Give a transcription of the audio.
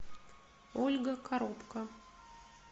ольга коробко